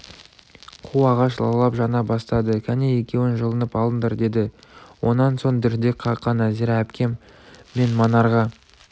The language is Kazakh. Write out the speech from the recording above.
қу ағаш лаулап жана бастады кәне екеуің жылынып алыңдар деді онан соң дірдек қаққан нәзира әпкем мен манарға